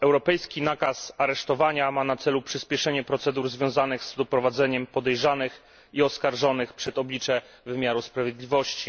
Europejski nakaz aresztowania ma na celu przyspieszenie procedur związanych z doprowadzeniem podejrzanych i oskarżonych przed oblicze wymiaru sprawiedliwości.